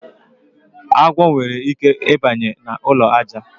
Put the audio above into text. Agwọ nwere ike I banye na ụlọ aja.